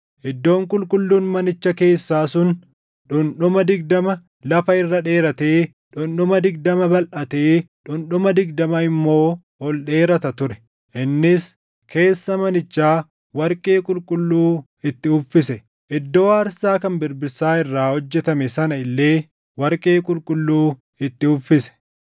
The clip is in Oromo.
Iddoon qulqulluun manicha keessaa sun dhundhuma digdama lafa irra dheeratee, dhundhuma digdama balʼatee dhundhuma digdama immoo ol dheerata ture. Innis keessa manichaa warqee qulqulluu itti uffise; iddoo aarsaa kan birbirsaa irraa hojjetame sana illee warqee qulqulluu itti uffise.